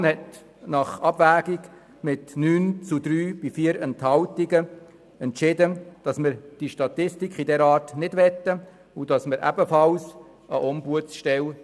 Die Kommission entschied sich mit 9 zu 3 Stimmen bei 2 Enthaltungen gegen die Statistik und die Installation einer Ombudsstelle.